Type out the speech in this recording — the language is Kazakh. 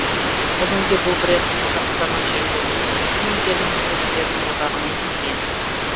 бүгінде бұл бренд қазақстанның жеңіл өнеркәсіп өнімдерін өндірушілердің одағына енген